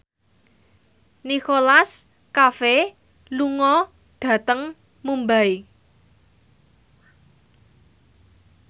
Nicholas Cafe lunga dhateng Mumbai